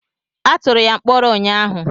Atụrụ ya mkpọrọ ụnyaahụ.